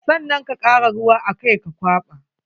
Sannan ka kara ruwa a kai ka kwaɓa.